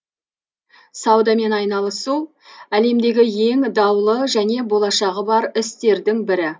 саудамен айналысу әлемдегі ең даулы және болашағы бар істердің бірі